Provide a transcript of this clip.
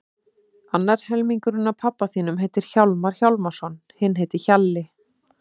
Annar helmingurinn af pabba þínum heitir Hjálmar Hjálmarsson, hinn heitir Hjalli.